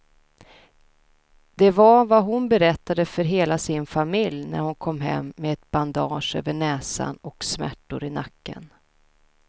Det var vad hon berättade för hela sin familj när hon kom hem med ett bandage över näsan och smärtor i nacken.